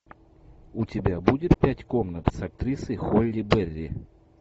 у тебя будет пять комнат с актрисой холли берри